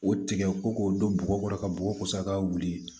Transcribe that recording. O tigɛ ko k'o don bɔgɔ kɔrɔ ka bɔgɔ kosa ka wuli